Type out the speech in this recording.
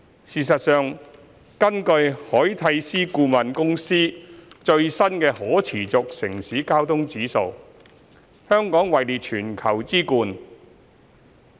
事實上，根據凱諦思顧問公司最新的"可持續城市交通指數"，香港位列全球之冠。